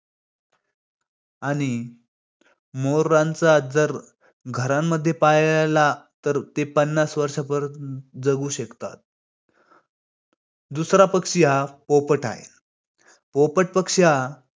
आणि मोरांचा जर घरांमध्ये पाळला तर ते पन्नास वर्षापर्यंत जगू शकतात. दूसरा पक्षी हा पोपट आहे. पोपट पक्षी हा